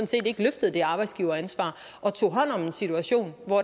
set ikke løftede det arbejdsgiveransvar og tog hånd om en situation hvor